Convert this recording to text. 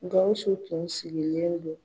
Gawusu tun sigilen don.